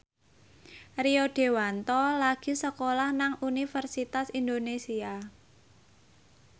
Rio Dewanto lagi sekolah nang Universitas Indonesia